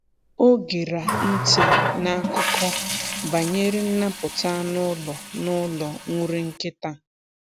Ọ gera ntị n’akụkọ banyere nnapụta anụ ụlọ n’ụlọ nri nkịta.